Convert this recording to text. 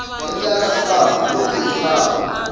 hi ndlala sangu loko hi tshama